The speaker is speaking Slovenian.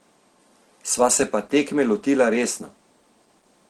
Sva se pa tekme lotila resno.